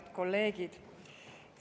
Head kolleegid!